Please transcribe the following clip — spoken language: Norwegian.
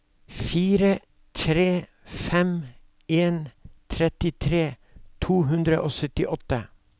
fire tre fem en trettitre to hundre og syttiåtte